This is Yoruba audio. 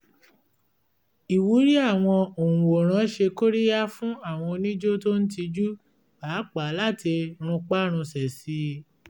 ìwúrí àwọn òǹwòran ṣe kóríyá fún àwọn onijó tó ń tijú pàápàá láti runpárunsẹ̀ sí i